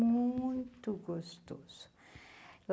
muito gostoso.